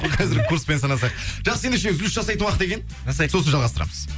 қазіргі курспен санасақ жақсы ендеше үзіліс жасайтын уақыт екен сосын жалғастырамыз